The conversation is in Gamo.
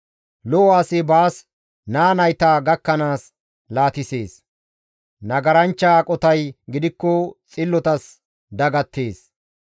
Lo7o asi baas naa nayta gakkanaas laatisees; nagaranchcha aqotay gidikko xillotas dagattees.